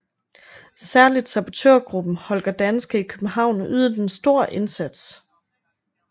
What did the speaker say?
Særligt sabotørgruppen Holger Danske i København ydede en stor indsats